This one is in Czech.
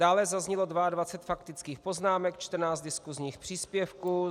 Dále zaznělo 22 faktických poznámek, 14 diskusních příspěvků.